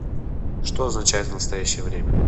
что означает в настоящее время